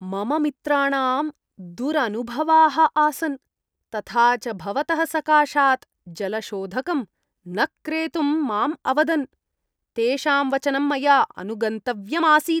मम मित्राणां दुरनुभवाः आसन्, तथा च भवतः सकाशात् जलशोधकं न क्रेतुं माम् अवदन्, तेषां वचनं मया अनुगन्तव्यम् आसीत्।